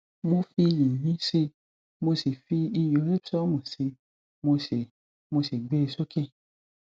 mo fi yìnyín sí i mo fi iyọ epson sí i mo sì i mo sì gbé e sókè